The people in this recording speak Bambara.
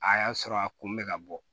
A y'a sɔrɔ a kun bɛ ka bɔ